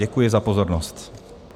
Děkuji za pozornost.